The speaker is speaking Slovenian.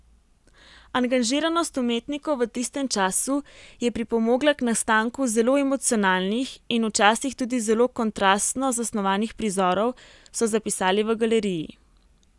Angažiranost umetnikov v tistem času je pripomogla k nastanku zelo emocionalnih in včasih tudi zelo kontrastno zasnovanih prizorov, so zapisali v galeriji.